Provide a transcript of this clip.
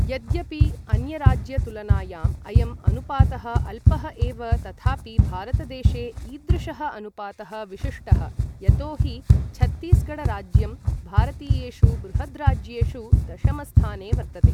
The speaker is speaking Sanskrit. यद्यपि अन्यराज्यतुलनायाम् अयं अनुपातः अल्पः एव तथापि भारतदेशे ईदृशः अनुपातः विशिष्टः, यतोहि छत्तीसगढराज्यं भारतीयेषु बृहद्राज्येषु दशमस्थाने वर्तते।